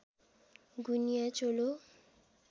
गुनिया चोलो